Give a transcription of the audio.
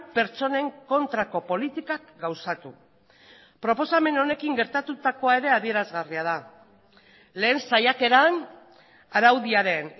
pertsonen kontrako politikak gauzatu proposamen honekin gertatutakoa ere adierazgarria da lehen saiakeran araudiaren